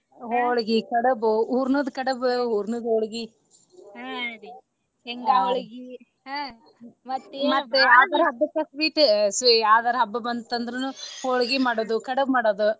ಹೊಳ್ಗಿ, ಕಡಬು ಹೂರ್ನದ ಕಡಬ ಹೂರ್ನದ ಹೋಳಗಿ ಯಾವದಾರಾ ಹಬ್ಬಕ್ಕ sweet ಯಾವದರಾ ಹಬ್ಬ ಬಂತ ಅಂದ್ರನು ಹೊಳ್ಗಿ ಮಾಡೋದು ಕಡಬ ಮಾಡೋದು.